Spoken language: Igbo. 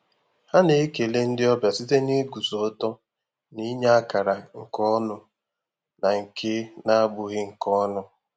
Ha na-ekele ndị ọbịa site n'iguzo ọtọ na inye akara nke ọnụ na nke na-abụghị nke ọnụ.